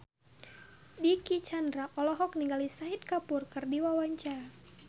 Dicky Chandra olohok ningali Shahid Kapoor keur diwawancara